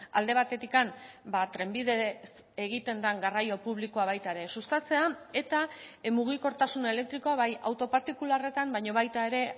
alde batetik trenbidez egiten den garraio publikoa baita ere sustatzea eta mugikortasun elektrikoa bai auto partikularretan baina baita ere